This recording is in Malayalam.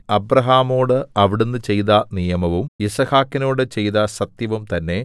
അബ്രാഹാമോടു അവിടുന്ന് ചെയ്ത നിയമവും യിസ്ഹാക്കിനോടു ചെയ്ത സത്യവും തന്നേ